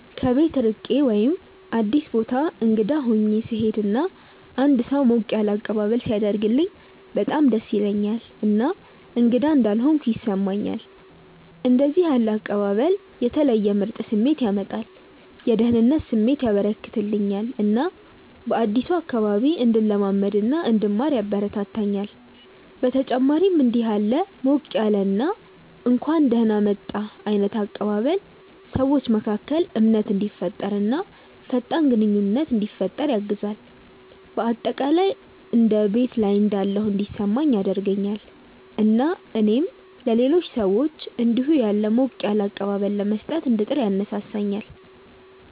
ከቤት ርቄ ወይም አዲስ ቦታ እንግዳ ሆኜ ስሄድ እና አንድ ሰው ሞቅ ያለ አቀባበል ሲያደርግልኝ በጣም ደስ ይለኛል እና እንግዳ እንዳልሆንኩ ያስሰማኛል። እንደዚህ ያለ አቀባበል የተለየ ምርጥ ስሜት ያመጣል፤ የደህንነት ስሜት ያበረከተልኛል እና በአዲሱ አካባቢ እንድለማመድ እና እንድማር ያበረታታኛል። በተጨማሪም እንዲህ ያለ ሞቅ ያለ እና እንኳን ደህና መጣህ ዓይነት አቀባበል ሰዎች መካከል እምነትን እንዲፈጠር እና ፈጣን ግንኙነት እንዲፈጠር ያግዛል። በአጠቃላይ እንደ ቤት ላይ እንዳለሁ እንዲሰማኝ ያደርገኛል እና እኔም ለሌሎች ሰዎች እንዲሁ ያለ ሞቅ ያለ አቀባበል ለመስጠት እንድጥር ያነሳሳኛል።